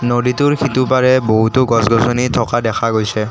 নদীটোৰ সিটোপাৰে বহুতো গছ-গছনি থকা দেখা গৈছে।